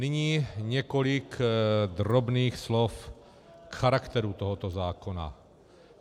Nyní několik drobných slov k charakteru tohoto zákona.